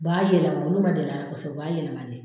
U b'a yɛlɛma nun ma deli a la kosɛbɛ u ba yɛlɛmane.